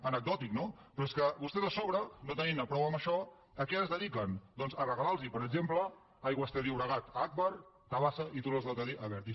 anecdòtic no però és que vostès a sobre no tenint ne prou amb això a què es dediquen doncs a regalar los per exemple aigües ter llobregat a agbar tabasa i túnels del cadí a abertis